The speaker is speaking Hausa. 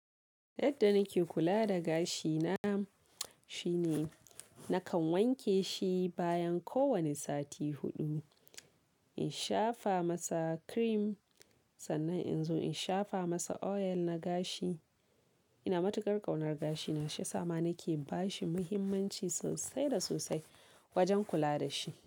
Yadda nake kula da gashina shine nakan wanke shi bayan kowane sati huɗu. In shafa masa cream sannan in zo in shafa masa oil na gashi. Ina matukar ƙaunar gashina, shi yasa ma nake bashi muhimmanci sosai da sosai wajen kula da shi.